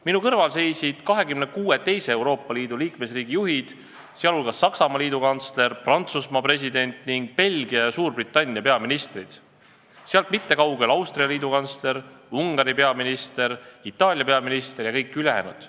Minu kõrval seisid 26 teise Euroopa Liidu liikmesriigi juhid, sh Saksamaa liidukantsler, Prantsusmaa president ning Belgia ja Suurbritannia peaminister, minust mitte kaugel aga Austria liidukantsler, Ungari peaminister, Itaalia peaminister ja kõik ülejäänud.